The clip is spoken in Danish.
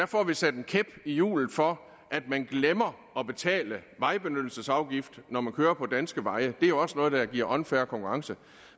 får vi sat en kæp i hjulet for at man glemmer at betale vejbenyttelsesafgiften for at køre på danske veje det er også noget der giver unfair konkurrence